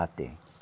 Ah, tem.